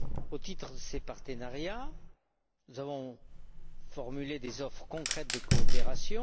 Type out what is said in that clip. Au titre de ces partenariats, nous avons formulé des offres concrètes de coopération.